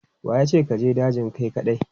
Wa ya ce ka je dajin kai kaɗai?